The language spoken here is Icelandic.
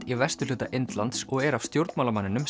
í vesturhluta Indlands og er af stjórnmálamanninum